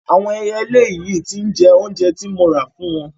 Àwọn ẹyẹlé yìí tí ń jẹ oúnjẹ tí mo ra fún wọn.